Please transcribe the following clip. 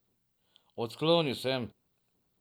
Odklonil sem.